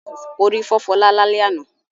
Orí fọ́ Fọlá lálẹ́ àná.